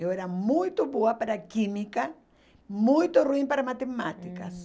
Eu era muito boa para química, muito ruim para matemática. Hum...